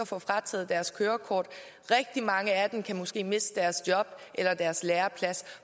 får frataget deres kørekort rigtig mange af dem kan måske miste deres job eller deres læreplads